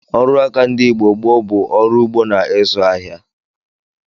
Ọrụaka ndị Igbo gboo bụ ọrụ ugbo na ịzụ ahịa